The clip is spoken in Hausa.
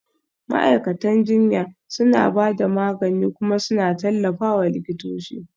Ma'aikatan jinya suna ba da magani kuma suna tallafawa likitoci